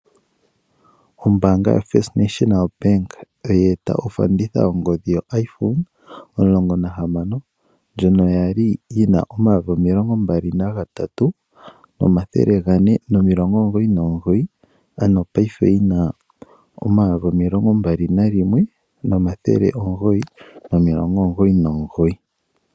Ombaanga yoFirst National Bank, taye eta ofanditha yongodhi yo iPhone 16, ndjono ya li yi na omayovi omilongo mbali nagatatu, omathele gane nomilongo omugoyi nomugoyi. Ano paife oyi na omayovi omilongo mbali nalimwe, omathele omugoyi, nomilongo omugoyi nomugoyi.